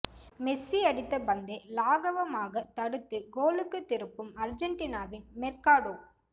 Messi அடித்த பந்தை லாகவமாகத் தடுத்து கோலுக்கு திருப்பும் அர்ஜென்டினாவின் மெர்காடோ